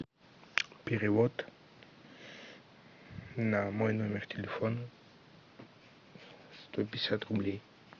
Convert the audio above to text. перевод на мой номер телефона сто пятьдесят рублей